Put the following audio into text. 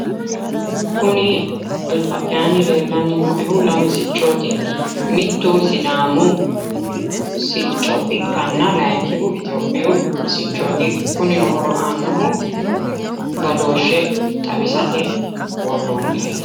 kuni alba'yaanni leellanni nooehu lame siccooti mittu sidaamu sicco ikkanna layiinkihu itiyophiyu siccooti kunino horo aannohu badooshshe xawisate worroonnireeti.